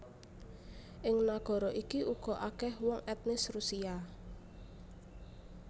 Ing nagara iki uga akèh wong etnis Rusia